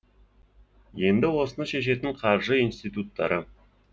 енді осыны шешетін қаржы институттары